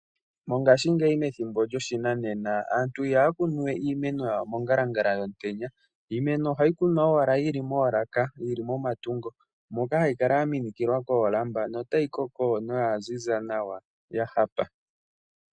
Mongashingeyi monena aantu ihaya kunu iimeno yawo mongala Angala yomutenya. Iimeno ohayi kunwa owala yili moolaka yili momatungo moka hayi kala ya minikilwa koolamba no tayi koko noya ziza nawa ya hapa.